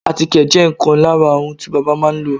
àtíkè jẹ́ ìkan lára ohun tí bábà máà ń lò.